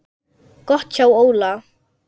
Gott hjá Óla.